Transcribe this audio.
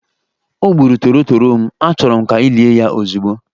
O gburu torotoro m, achọrọ m ka ị lie ya ozugbo!